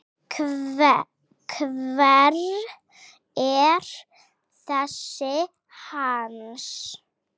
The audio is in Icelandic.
Hver er þessi Hans?